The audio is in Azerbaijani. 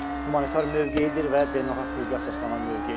Humanitar mövqeyidir və beynəlxalq hüquqa əsaslanan mövqeyidir.